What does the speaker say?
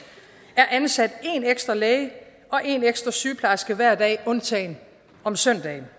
er ansat en ekstra læge og en ekstra sygeplejerske hver dag undtagen om søndagen